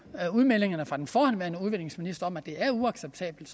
udmeldingerne fra den forhenværende udviklingsminister om at det er uacceptabelt